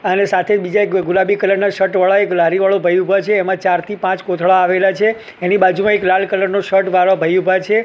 અને સાથે બીજા ગુલાબી કલર ના શર્ટ વાળા એક લારી વાળો ભઈ ઉભા છે એમા ચાર થી પાંચ કોથળા આવેલા છે એની બાજુમાં એક લાલ કલર નો શર્ટ વાળો ભઈ ઉભા છે.